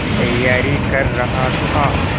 तैयारी कर रहा था